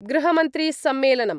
गृहमन्त्री सम्मेलनम्